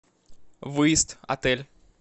выезд отель